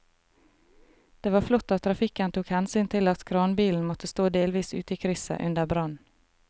Det var flott at trafikken tok hensyn til at kranbilen måtte stå delvis ute i krysset under brannen.